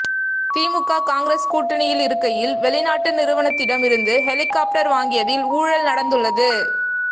திமுக காங்கிரஸ் கூட்டணியில் இருக்கையில் வெளிநாட்டு நிறுவனத்திடம் இருந்து ஹெலிகாப்டர் வாங்கியதில் ஊழல் நடந்துள்ளது